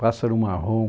Pássaro Marrom.